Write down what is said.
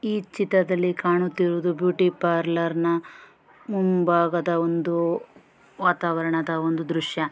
ಈ ಚಿತ್ರದಲ್ಲಿ ಕಾಣುತ್ತಾ ಇರೋದು ಬ್ಯೂಟಿ ಪಾರ್ಲರನ ಮುಂಭಾಗದ ಒಂದು ವಾತಾವರಣದ ಒಂದು ದೃಶ್ಯ .